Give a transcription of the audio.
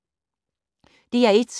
DR1